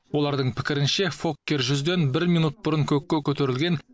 олардың пікірінше фоккер жүзден бір минут бұрын көкке көтерілген